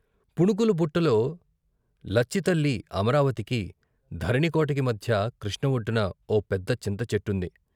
పుణుకుల బుట్టలో లచ్చితల్లి అమరావతికీ, ధరణికోటకి మధ్య కృష్ణ ఒడ్డున ఓ పెద్ద చింత చెట్టుంది.